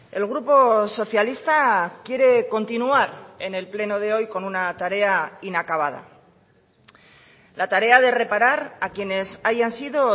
el grupo socialista quiere continuar en el pleno de hoy con una tarea inacabada la tarea de reparar a quienes hayan sido